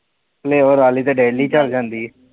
flavour ਵਾਲੀ ਤੇ daily ਚਲ ਜਾਂਦੀ ਐ।